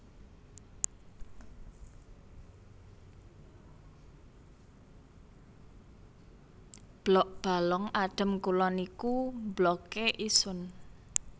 Blok Balong Adem Kulon iku Blokke Isun